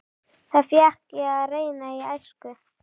Það fékk ég að reyna í æsku.